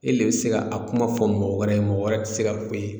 E le be se k'a a kuma fɔ mɔgɔ wɛrɛ ye mɔgɔ wɛrɛ te se ka f'e ye